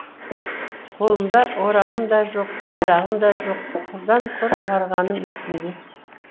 қолымда орағым да жоқ қайрағым да жоқ құрдан құр барғаным есімде